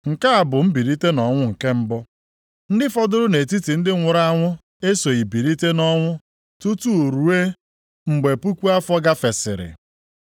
Nke a bụ mbilite nʼọnwụ nke mbụ. Ndị fọdụrụ nʼetiti ndị nwụrụ anwụ esoghị bilite nʼọnwụ tutu ruo mgbe puku afọ gafesịrị.